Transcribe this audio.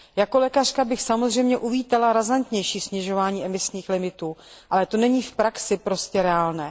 Jako lékařka bych samozřejmě uvítala razantnější snižování emisních limitů, ale to není v praxi reálné.